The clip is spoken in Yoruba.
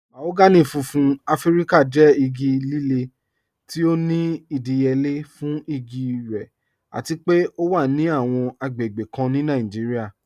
Mahogany fúnfún Afíríkà jẹ́ igi lílẹ̀ tí ó ní ìdíyélé fún igi rẹ̀ àti pé ọ wà ní awọn agbègbè kàn ní Nàìjíríà.